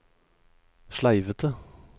sleivete